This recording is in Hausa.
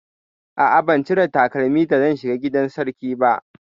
A'a, ban cire takalmi da zan shiga gidan sarki ba.